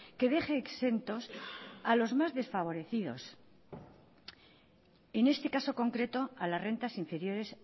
que deje exentos a los más desfavorecidos en este caso concreto a las rentas inferiores